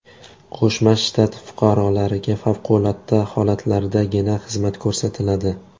Qo‘shma Shtat fuqarolariga favqulodda holatlardagina xizmat ko‘rsatiladi.